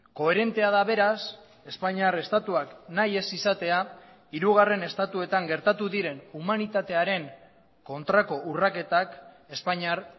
koherentea da beraz espainiar estatuak nahi ez izatea hirugarren estatuetan gertatu diren humanitatearen kontrako urraketak espainiar